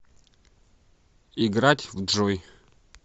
играть в джой